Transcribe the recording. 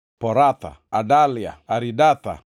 Poratha, Adalia, Aridatha,